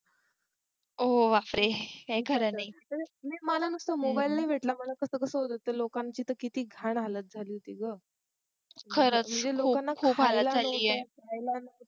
हो बापरे काही खर नाही नाही मला नुसता मोबाइल नाही भेटला मला कस कस होत होतं लोकांची तर किती घाण झाली होती ग खरच खूप हालत झाली